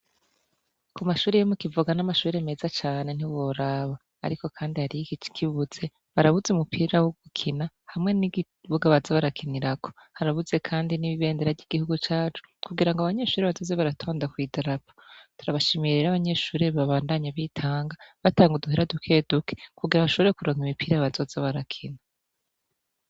Ku mashuri yemu kivuga n'amashubire meza cane ntiboraba, ariko, kandi hario iki kibuze barabuze umupira wo gukina hamwe n'igibugabaza barakinirako harabuze, kandi n'ibibendera ry'igihugu cacu kugira ngo abanyeshuri bazoze baratanda kwidarapo turabashimirira abanyeshurire babandanye bitanga batanga uduhera duke dukekua ashorekuranga imipira yabazoze barakina.